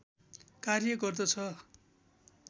कार्य गर्दछ